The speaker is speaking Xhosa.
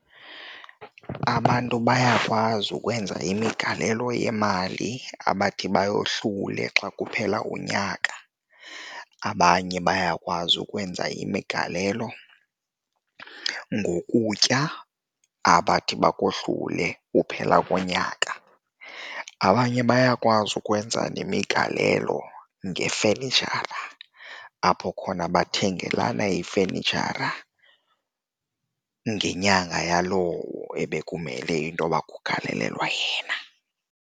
Abantu bayakwazi ukwenza imigalelo yemali abathi bayohlule xa kuphela unyaka, abanye bayakwazi ukwenza imigalelo ngokutya abathi bakohlule ukuphela konyaka. Abanye bayakwazi ukwenza nemigalelo ngefenitshara apho khona bathengele xana ifenitshara ngenyanga yalowo ebekumele intoba kugalelwa yena.